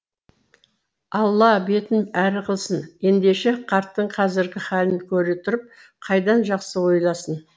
алла бетін әрі ғылсын ендеше қарттың қазіргі халін көре тұрып қайдан жақсы ойласын